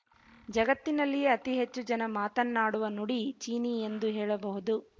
ಜಗತ್ತಿನಲ್ಲಿಯೇ ಅತೀ ಹೆಚ್ಚು ಜನ ಮಾತನ್ನಾಡುವ ನುಡಿ ಚೀನಿ ಎಂದು ಹೇಳಬಹುದು